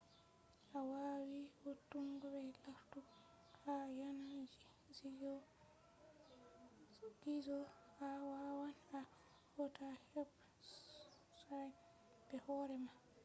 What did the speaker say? to a wawi vo'utungo be lartugo ha yanan gizo a wawan a hauta website be hoore ma